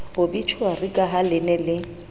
obitjhuari ka ha le ne